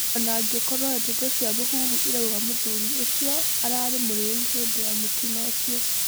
Onangĩkorwo ndeto cia mũhuhu irauga mũthuri ũcio ararĩ mũrĩu hĩndĩ ya mũtino ũcio.